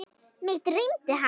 Mig dreymdi hann.